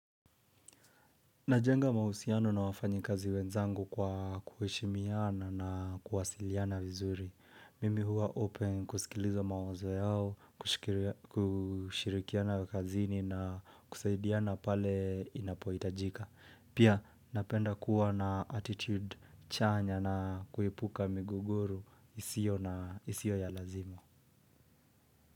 Najenga mahusiano na wafanyikazi wenzangu kwa kuheshimiana na kuwasiliana vizuri. Mimi huwa open kusikiliza mawazo yao, kushirikiana kazini na kusaidiana pale inapohitajika. Pia napenda kuwa na attitude chanya na kuepuka migogoru isio ya lazima.